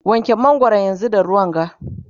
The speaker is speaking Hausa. wanke mangwaron da ruwa yanzunga!